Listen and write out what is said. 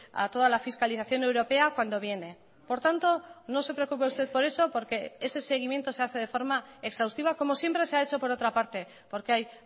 a toda la fiscalización europea cuando viene por tanto no se preocupe usted por eso porque ese seguimiento se hace de forma exhaustiva como siempre se ha hecho por otra parte porque hay